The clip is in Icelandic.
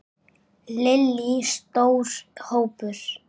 Lillý: Stór hópur?